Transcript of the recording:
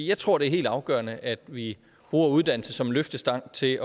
jeg tror det er helt afgørende at vi bruger uddannelse som en løftestang til